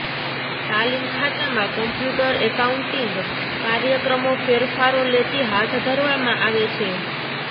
તાલીમ ખાતામાં computer accounting કાર્યક્રમો ફેરફારો લેતી હાથ ધરવામાં આવે છે